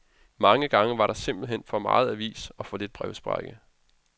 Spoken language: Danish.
Mange gange var der simpelt hen for meget avis og for lidt brevsprække.